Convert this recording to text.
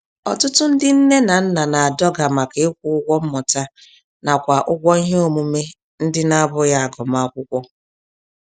Ọtụtụ ndị nne na nna na-adọga màkà ịkwụ ụgwọ mmụta nakwa ụgwọ ihe omume ndị na bụghị agụmakwụkwọ.